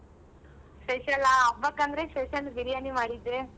Special ಆ ಹಬ್ಬಕ್ ಅಂದ್ರೆ special Biryani ಮಾಡಿದ್ದೆ.